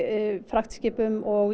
fraktskipum og